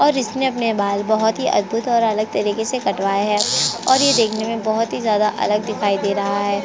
और इसने अपने बाल बहुत ही अद्भुत और अलग तरीके से कटवाए है और ये देखने में बोहोत ही ज्यादा अलग दिखाई दे रहा हैं।